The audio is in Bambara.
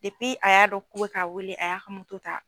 Depi a y'a dɔn k'u bɛ k'a wele a y'a ka ta.